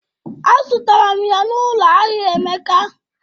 Azụtara m ya n'ụlọ ahịa Emeka